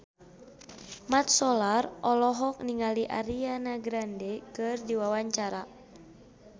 Mat Solar olohok ningali Ariana Grande keur diwawancara